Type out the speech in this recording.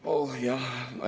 Oh jah!